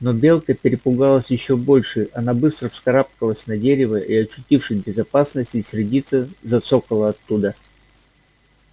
но белка перепугалась ещё больше она быстро вскарабкалась на дерево и очутившись в безопасности сердито зацокала оттуда